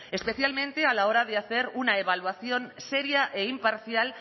especialmente a la hora de hacer una evaluación seria e imparcial